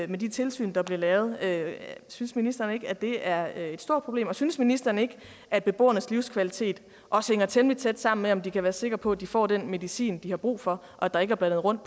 de tilsyn der blev lavet synes ministeren ikke at det er et stort problem og synes ministeren ikke at beboernes livskvalitet også hænger temmelig tæt sammen med om de kan være sikre på at de får den medicin de har brug for og at der ikke er blandet rundt